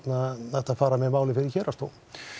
hægt að fara með málið fyrir héraðsdóm